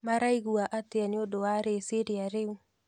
Maraigua atĩa nĩũndũ wa rĩciria rĩu?